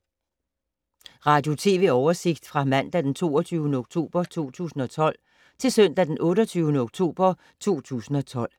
Radio/TV oversigt fra mandag d. 22. oktober 2012 til søndag d. 28. oktober 2012